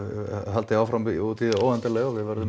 haldi áfram út í hið óendanlega og við verðum